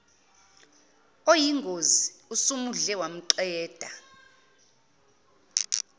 oyingozi osumudle wamqeda